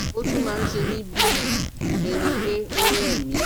Ó tún máa ń se mí bí ẹni pé ó rẹ̀ mí